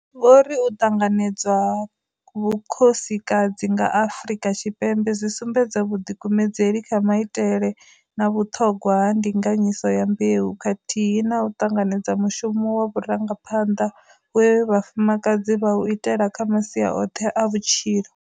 Vho ri u ṱanganedzwa ha vhukhosikadzi nga Afrika Tshipembe zwi sumbedza vhuḓikumedzeli kha maitele na vhuṱhogwa ha ndinga nyiso ya mbeu, kathihi na u ṱanganedza mushumo wa vhurangaphanḓa we vhafumakadzi vha u ita kha masia oṱhe a vhutshilo.